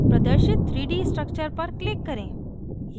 प्रदर्शित 3d structure पर click करें